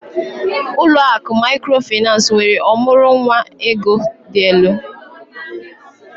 Ụlọ akụ Mikrofaịnsi nwere ọmụrụ nwa ego dị elu